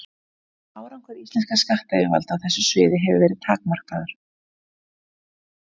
Árangur íslenskra skattyfirvalda á þessu sviði hefur verið takmarkaður.